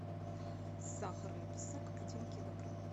сахарный песок один килограмм